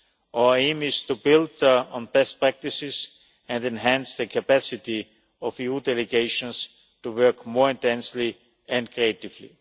Our aim is to build on best practices and enhance the capacity of EU delegations to work more intensely and creatively.